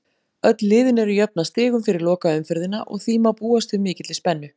Öll liðin eru jöfn að stigum fyrir lokaumferðina og því má búast við mikilli spennu.